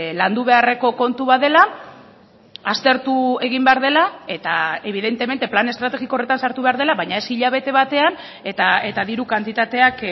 landu beharreko kontu bat dela aztertu egin behar dela eta evidentemente plan estrategiko horretan sartu behar dela baina ez hilabete batean eta diru kantitateak